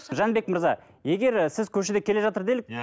жәнібек мырза егер сіз көшеде келе жатыр делік иә